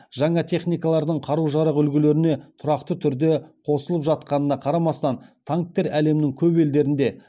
жаңа техникалардың қару жарақ үлгілеріне тұрақты түрде қосылып жатқанына қарамастан танктер әлемнің көп елдерінде